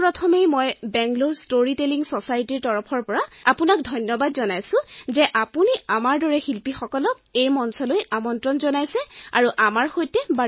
পোন প্ৰথমে মই আপোনাক বাঙালৰে ষ্টৰী টেলিং Societyৰ তৰফৰ পৰা ধন্যবাদ জ্ঞাপন কৰিব বিচাৰিছো কিয়নো আপুনি আমাৰ দৰে শিল্পীসকলক এই মঞ্চলৈ মাতিছে আৰু কথা পাতিছে